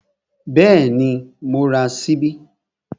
Bẹ́ẹ̀ni, mo ra ṣíbí